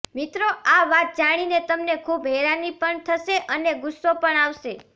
મિત્રો આ વાત જાણીને તમને ખુબ હેરાની પણ થશે અને ગુસ્સો પણ આવશે